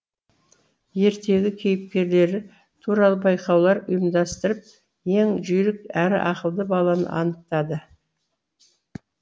ертегі кейіпкерлері туралы байқаулар ұйымдастырып ең жүйрік әрі ақылды баланы анықтады